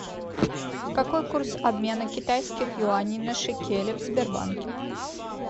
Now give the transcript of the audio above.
какой курс обмена китайских юаней на шекели в сбербанке